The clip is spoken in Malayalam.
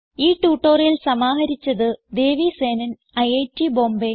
ഈ ട്യൂട്ടോറിയൽ സമാഹരിച്ചത് ദേവി സേനൻ ഐറ്റ് ബോംബേ